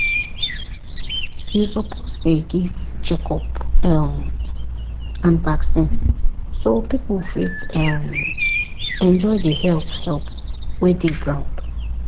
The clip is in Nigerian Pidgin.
you suppose dey give check up um and vaccine so people fit um enjoy the health help wey dey ground.